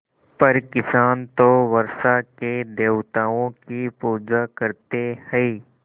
पर किसान तो वर्षा के देवताओं की पूजा करते हैं